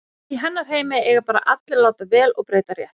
Í hennar heimi eiga bara allir að láta vel og breyta rétt.